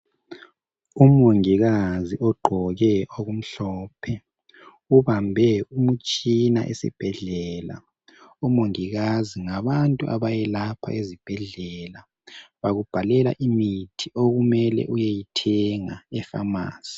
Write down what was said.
Umongikazi ogqoke oku mhlophe ubambe umtshina esibhedlela. Umongikazi ngabantu abayelapha ezibhedlela bakubhalela imithi okumele uyeyithenga efamasi.